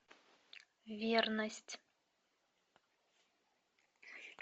верность